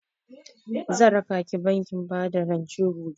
Zan rakaki bankin bada rance gobe.